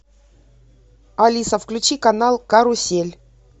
алиса включи канал карусель